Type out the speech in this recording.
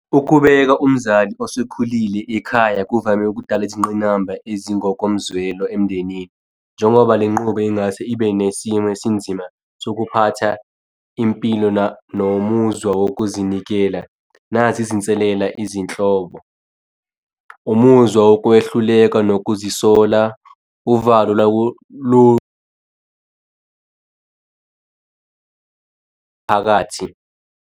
Ukubeka umzali osekhulile ekhaya kuvame ukudala izingqinamba ezingokomzwelo emndenini. Njengoba le nqubo ingase ibe nesimo esinzima sokuphatha impilo nomuzwa wokuzinikela. Nazi izinselela izinhlobo, umuzwa wokwehluleka yokuzisola uvalo phakathi.